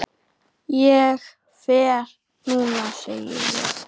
Ég fer núna, segi ég.